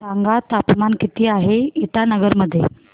सांगा तापमान किती आहे इटानगर मध्ये